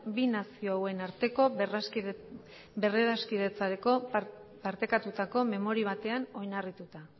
bi nazio hauen arteko berradiskidetzeko partekatutako memori batean oinarrituta